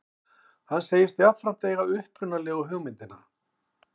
Hann segist jafnframt eiga upprunalegu hugmyndina